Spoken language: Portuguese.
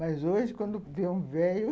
Mas hoje, quando vê um velho,